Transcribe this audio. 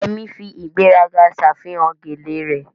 Yemi fi ìgbéraga ṣàfihàn gele rẹ̀